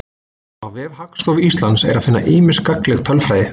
Á vef Hagstofu Íslands er að finna ýmsa gagnlega tölfræði.